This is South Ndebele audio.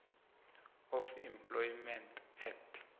of employment act